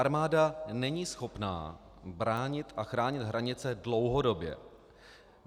Armáda není schopna bránit a chránit hranice dlouhodobě.